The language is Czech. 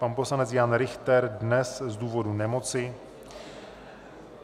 Pan poslanec Jan Richter dnes z důvodů nemoci.